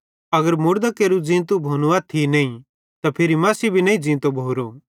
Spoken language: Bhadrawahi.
अगर मुड़दां केरू ज़ींतू भोनू अथ्थी नईं ते फिरी मसीह भी नईं ज़ींतो भोरो